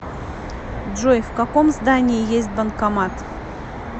джой в каком здании есть банкомат